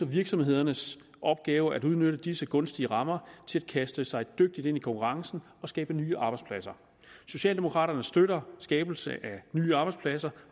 virksomhedernes opgave at udnytte disse gunstige rammer til at kaste sig dygtigt ind i konkurrencen og skabe nye arbejdspladser socialdemokraterne støtter skabelsen af nye arbejdspladser